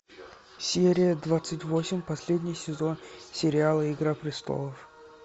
серия двадцать восемь последний сезон сериала игра престолов